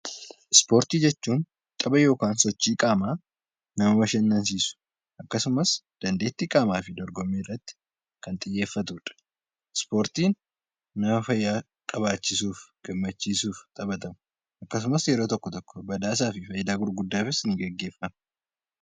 Ispoortii jechuun tapha yookiin sochii qaamaa nama bashannansiisu akkasumas dandeettii qaamaa fi dorgommii irratti kan xiyyeeffatudha. Ispoortiin nama fayyaa qabaachisuuf, gammachiisuuf yeroo tokko tokko fayidaa gurguddaafis ni gaggeeffamu.